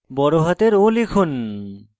বড়হাতের o টিপুন